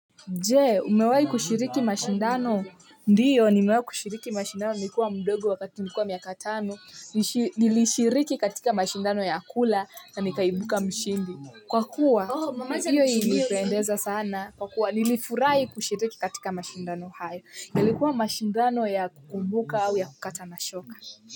Je umewai kushiriki mashindano ndio nimewai kushiriki mashindano nikiwa mdogo wakati nilikuwa miaka tano nilishiriki katika mashindano ya kula na nikaibuka mshindi. Kwa kuwa nilifurahi kushiriki katika mashindano hayo yalikuwa mashindano ya kukumbuka au ya kukata na shoka.